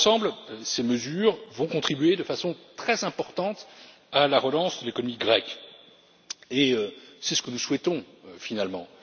Dans l'ensemble, ces mesures vont contribuer de façon très importante à la relance de l'économie grecque, et c'est ce que nous souhaitons finalement.